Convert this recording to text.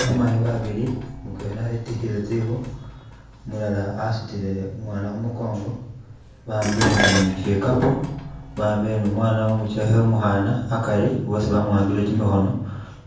Bamayi babilii, mutwela etikhile tsikhu, umulala asutile umwana khumukongo bawambile ne shikapo, bawambo ne umwana umuchekhe umukhana akari bosi bamuwambile kimikhono